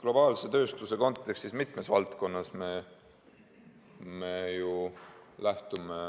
Globaalse tööstuse kontekstis me mitmes valdkonnas ju lähtume